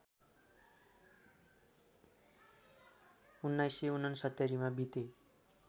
१९६९ मा बिते